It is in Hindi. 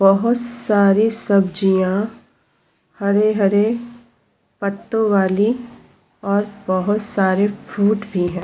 बोहोत सारी सब्जियां हरे-हरे पत्तों वाली और बोहोत सारे फ्रूट भी हैं।